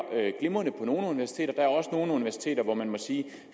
glimrende på nogle universiteter men der er også nogle universiteter hvor man må sige